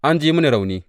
An ji mini rauni.